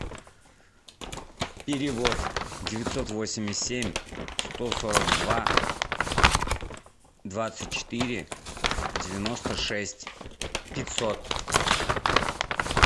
перевод девятьсот восемьдесят семь сто сорок два двадцать четыре девяносто шесть пятьсот